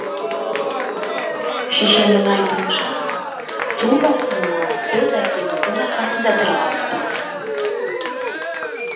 шешемнің айтуынша су тасқынынан біз әкеміздің арқасында тірі қалыппыз